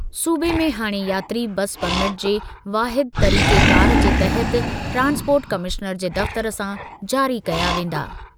सूबे में हाणे यात्री बस परमिट जे वाहिद तरीक़ेकार जे तहत ट्रांसपोर्ट कमिश्नर जे दफ़्तर सां जारी कया वेंदा।